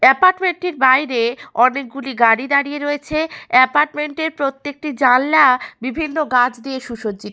Apartment টির বাইরে অনেকগুলি গাড়ি দাঁড়িয়ে রয়েছে। এপার্টমেন্ট এর প্রত্যেকটি জানলা বিভিন্ন গাছ দিয়ে সুসজ্জিত।